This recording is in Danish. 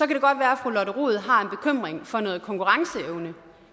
det godt være at fru lotte rod har en bekymring for noget konkurrenceevne